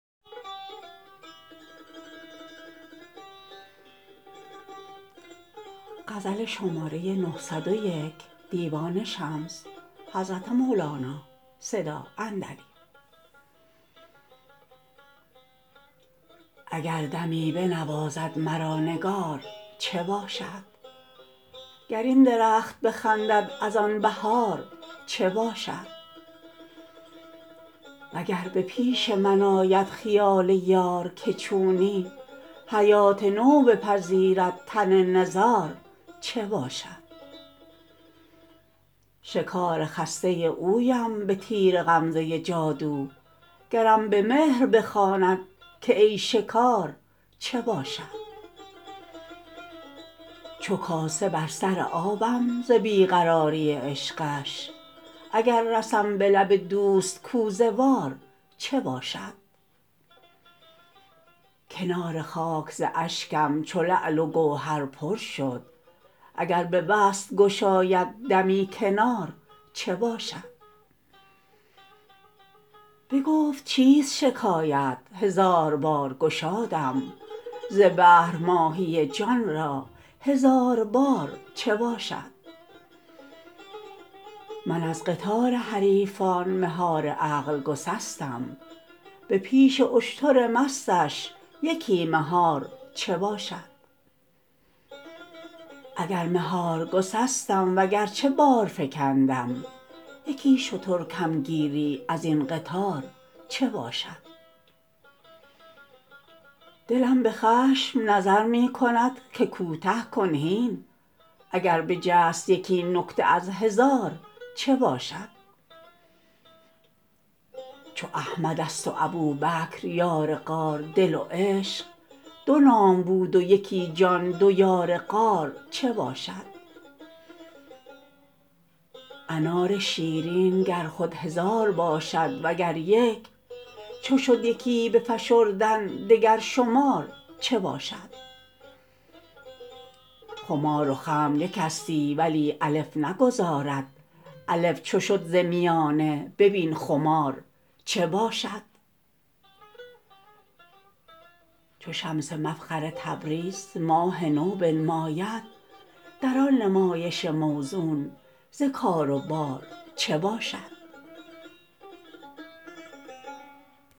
اگر دمی بنوازد مرا نگار چه باشد گر این درخت بخندد از آن بهار چه باشد وگر به پیش من آید خیال یار که چونی حیات نو بپذیرد تن نزار چه باشد شکار خسته اویم به تیر غمزه جادو گرم به مهر بخواند که ای شکار چه باشد چو کاسه بر سر آبم ز بی قراری عشقش اگر رسم به لب دوست کوزه وار چه باشد کنار خاک ز اشکم چو لعل و گوهر پر شد اگر به وصل گشاید دمی کنار چه باشد بگفت چیست شکایت هزار بار گشادم ز بهر ماهی جان را هزار بار چه باشد من از قطار حریفان مهار عقل گسستم به پیش اشتر مستش یکی مهار چه باشد اگر مهار گسستم وگرچه بار فکندم یکی شتر کم گیری از این قطار چه باشد دلم به خشم نظر می کند که کوته کن هین اگر بجست یکی نکته از هزار چه باشد چو احمدست و ابوبکر یار غار دل و عشق دو نام بود و یکی جان دو یار غار چه باشد انار شیرین گر خود هزار باشد وگر یک چو شد یکی به فشردن دگر شمار چه باشد خمار و خمر یکستی ولی الف نگذارد الف چو شد ز میانه ببین خمار چه باشد چو شمس مفخر تبریز ماه نو بنماید در آن نمایش موزون ز کار و بار چه باشد